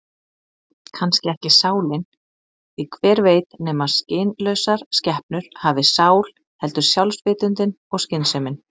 Kannski ekki sálin, því hver veit nema skynlausar skepnur hafi sál, heldur sjálfsvitundin og skynsemin.